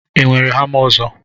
ị nwere hama ọzọ